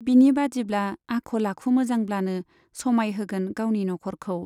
बिनि बादिब्ला आखल आखु मोजांब्लानो समाय होगोन गावनि नख'रखौ।